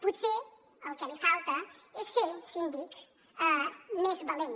potser el que li falta és ser síndic més valent